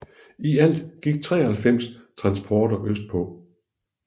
I alt gik 93 transporter østpå